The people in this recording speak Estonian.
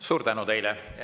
Suur tänu teile!